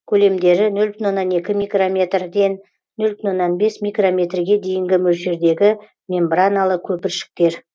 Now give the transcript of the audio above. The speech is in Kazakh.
көлемдері нөл бүтін оннан екі микрометрден нөл бүтін оннан бес микрометрге дейінгі мөлшердегі мембраналы көпіршіктер